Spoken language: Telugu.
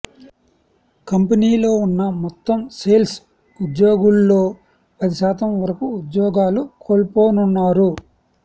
కంపెనీలో ఉన్న మొత్తం సేల్స్ ఉద్యోగుల్లో పది శాతం వరకు ఉద్యోగాలు కోల్పోనున్నారు